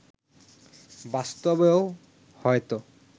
বাস্তবেও হয়তো